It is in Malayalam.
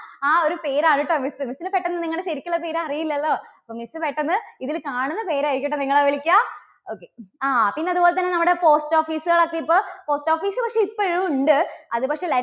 ആ ഒരു പേരാണ് കേട്ടോ miss, miss ന് പെട്ടെന്ന് നിങ്ങളുടെ ശരിക്കുള്ള പേര് അറിയില്ലല്ലോ. അപ്പോൾ miss പെട്ടെന്ന് ഇതില് കാണുന്ന പേര് ആയിരിക്കും കേട്ടോ നിങ്ങളെ വിളിക്കുക. okay ആ പിന്നെ അതുപോലെതന്നെ നമ്മുടെ post office കൾ ഒക്കെ ഇപ്പോ post office കളൊക്കെ ഇപ്പഴും ഉണ്ട്. അതുപക്ഷേ